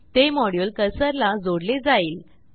ते मॉड्युल कर्सरला जोडले जाईल